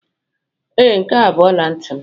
Ee, nke a bụ ọla ntị m.